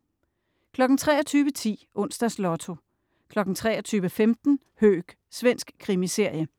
23.10 Onsdags Lotto 23.15 Höök. Svensk krimiserie